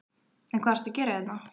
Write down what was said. En hvað ertu að gera hérna?